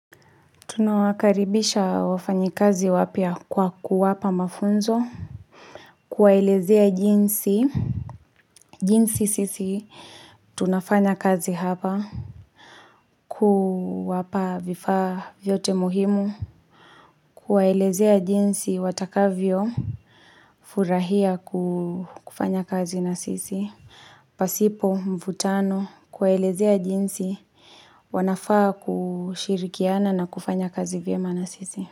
Tunawakaribisha wafanyikazi wapya kwa kuwapa mafunzo. Kuwaelezea jinsi. Jinsi sisi, tunafanya kazi hapa. Kuwapa vifaa vyote muhimu. Kuwaelezea jinsi watakavyofurahia kufanya kazi na sisi. Pasipo, mvutano, kuwaelezea jinsi, wanafaa kushirikiana na kufanya kazi vyema na sisi.